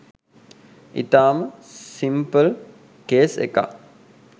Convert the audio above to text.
ඉතාම simple case එකක්.